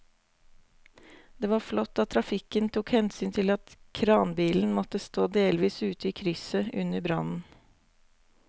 Det var flott at trafikken tok hensyn til at kranbilen måtte stå delvis ute i krysset under brannen.